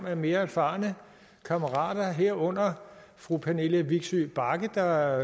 af mere erfarne kammerater herunder fru pernille vigsø bagge der